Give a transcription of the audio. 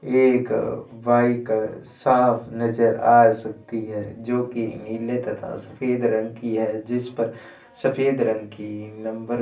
एक बाइक साफ नजर आ सकती है जो की नीले तथा सफेद रंग की है जिस पर सफेद रंग की नंबर --